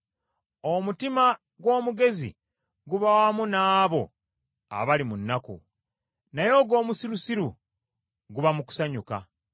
Omutima gw’omugezi guba wamu n’abo abali mu nnaku; naye ogw’omusirusiru guba mu kusanyuka.